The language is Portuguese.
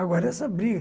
Agora é essa briga.